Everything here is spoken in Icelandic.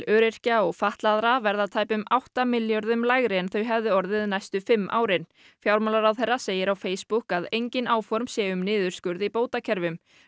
öryrkja og fatlaðra verða tæpum átta milljörðum lægri en þau hefðu orðið næstu fimm árin fjármálaráðherra segir á Facebook að engin áform séu um niðurskurð í bótakerfum